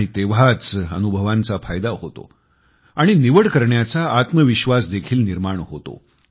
आणि तेंव्हाच अनुभवांचा फायदा होतो आणि निवड करण्याचा आत्मविश्वास देखील निर्माण होतो